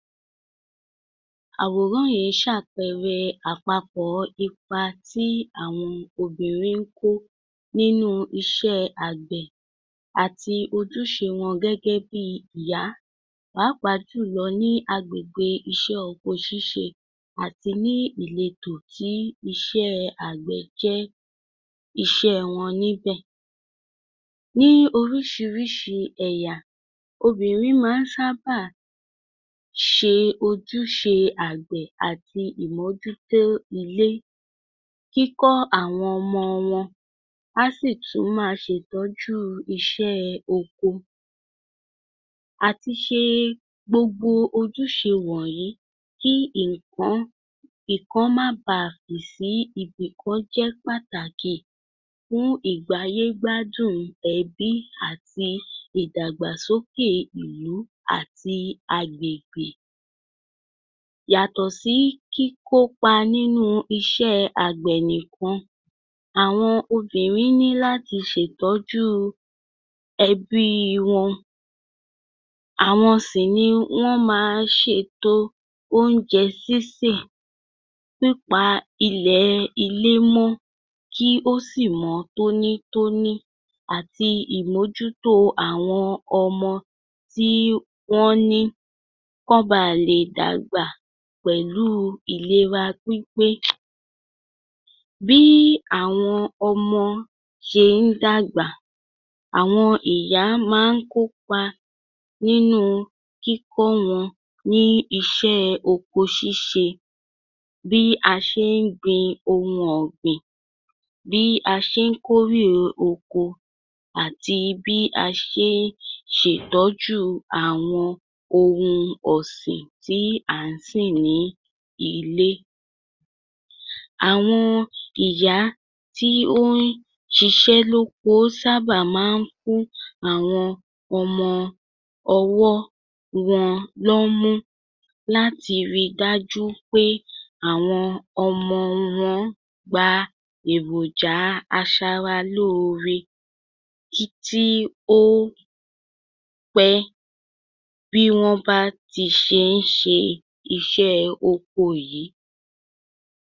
Àwòrán yìí ń ṣàpẹrẹ àpapọ̀ ipa tí àwọn obìnrin ń kó nínú iṣẹ́ àgbẹ̀, àti ojúṣe wọn gẹ́gẹ́ bíi ìyá, pàápàá jù lọ ní agbègbè iṣẹ́ oko ṣíṣe àti ní ìletò tí iṣẹ́ẹ́ àgbẹ̀ jẹ́ iṣẹ́ wọn níbẹ̀. Ní oríṣiríṣi ẹ̀yà, obìnrin má ń sábà ṣe ojúṣe àgbẹ̀ àti ìmójútó ilé, kíkọ́ àwọn ọmọ wọn, á sì tún máa ṣètọ́jú iṣẹ́ẹ oko. Àtiṣe gbogbo ojúṣe wọ̀nyí kí ìkán ìkan má baà fì sí ìbìkan jẹ́ pàtàkì fún ìgbáyégbádùn ẹbí àti ìdàgbàsókè ìlú, àti agbègbè. Yàtọ̀ sí kíkópa nínú iṣẹ́ àgbẹ̀ nìkan, àwọn obìnrin ní láti ṣètọ́jú ẹbíi wọn. Àwọn sì ni wọ́n ma ṣètò oúnjẹ sísè, pípa ilẹ̀ ilé mọ́, kí ó sì mọ́ tónítóní, àti ìmójútó àwọn ọmọ tíí wọ́n kán ba lè dàgbà pẹ̀lúu ìlera pípé. Bíí àwọn ọmọ ṣe ń dàgbà, àwọn ìyá má ń kópa nínú kíkọ́ wọn ní iṣẹ́ oko ṣíṣe, bí a ṣe ń gbin ohun ọ̀gbìn, bí a ṣé ń kórè oko àti bí a ṣe ń ṣètọ́júu àwọn ohun ọ̀sìn tí à ń sìn ní ilé. Àwọn ìyá tí ó ń ṣiṣẹ́ loko sábà má ń fún àwọn ọmọ ọwọ́ wọn lọ́mú láti ri dájú pé àwọn ọmọ wọn gba èròjàa aṣara lóoore tí ó pẹ́ bí wọ́n bá ti ṣe ń ṣe iṣẹ́ oko wọn yìí